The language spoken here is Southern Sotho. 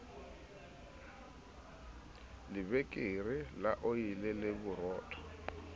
lebekere la oli le borotho